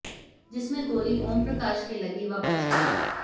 जिसमे गोली ओमप्रकाश के लगी व बच गया